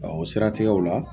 o siratigɛw la.